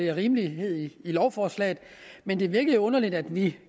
er rimelighed i lovforslaget men det virker lidt underligt at vi